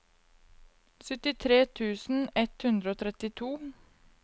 syttitre tusen ett hundre og trettito